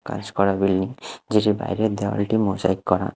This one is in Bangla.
কাজ করা বিল্ডিং যেটির বাইরের দেয়ালটি মোজাইক করা।